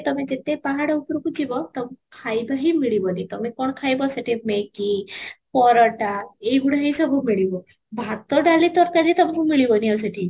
ତମେ ଯେତେ ପାହାଡ଼ ଉପରକୁ ଯିବ ତମକୁ ଖାଇବା ହିଁ ମିଳିବନି, ତମେ କ'ଣ ଖାଇବ ସେଠି Maggie ପରଠା ଏଇ ଗୁଡା ହିଁ ସବୁ ମିଳିବ ଭାତ ଡାଲି ତରକାରୀ ସବୁ ମିଳିବନି ଆଉ ସେଠି